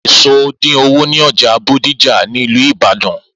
Eso dín owo ní ọjà Bódìjà ni ìlú Ìbàdàn.